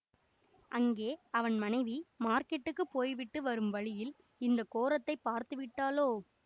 அங்கே அவன் மனைவி மார்க்கெட்டுக்குப் போய்விட்டு வரும் வழியில் இந்த கோரத்தைப் பார்த்து விட்டாளோ